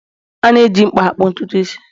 A na-eji mkpa akpụ ntutu isi